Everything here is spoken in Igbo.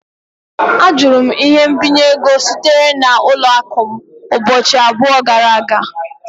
Ajụra m ihe mbinye ego sitere n'ụlọ akụ m ụbọchị abụọ gara aga